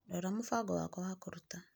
Rora mũbango wakwa wa kũruta.